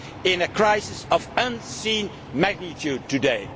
GDP, into a crisis of unforeseen magnitude today.